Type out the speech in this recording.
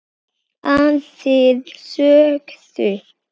Aðrir sögðu